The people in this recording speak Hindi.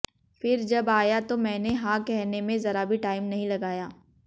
फिर जब आया तो मैंने हां कहने में जरा भी टाइम नहीं लगाया